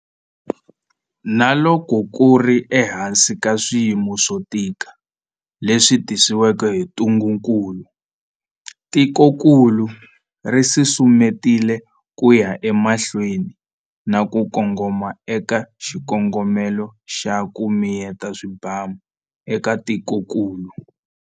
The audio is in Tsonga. Na loko ku ri ehansi ka swiyimo swo tika leswi tisiweke hi ntungukulu, tikokulu ri susumetile ku ya emahlweni na ku kongoma eka xikongomelo xa 'ku miyeta swibamu' eka tikokulu.